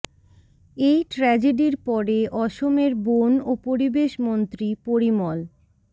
এই ট্র্যাজেডির পরে অসমের বন ও পরিবেশ মন্ত্রী পরিমল